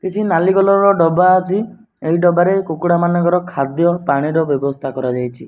କିଛି ନାଲି କଲର ର ଡବା ଅଛି ଏଇ ଡବାରେ କୁକୁଡ଼ା ମାନଙ୍କର ଖାଦ୍ୟ ପାଣିର ବେବସ୍ତା କରାଯାଇଚି।